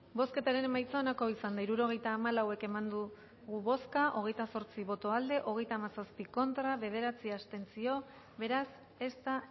bozketaren emaitza onako izan da hirurogeita hamalau eman dugu bozka hogeita zortzi boto aldekoa hogeita hamazazpi contra bederatzi abstentzio beraz ez da